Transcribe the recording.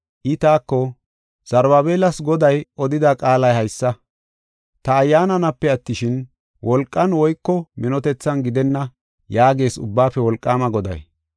I taako, “Zarubaabelas Goday odida qaalay haysa; ‘Ta Ayyaananape attishin, wolqan woyko minotethan gidenna’ yaagees Ubbaafe Wolqaama Goday.